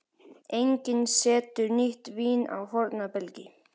Enginn setur nýtt vín á forna belgi.